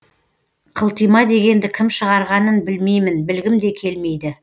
қылтима дегенді кім шығарғанын білмеймін білгім де келмейді